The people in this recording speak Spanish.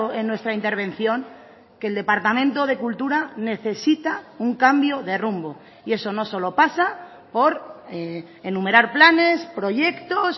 en nuestra intervención que el departamento de cultura necesita un cambio de rumbo y eso no solo pasa por enumerar planes proyectos